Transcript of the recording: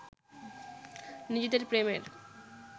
নিজেদের প্রেমের